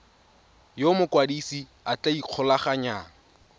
yo mokwadise a tla ikgolaganyang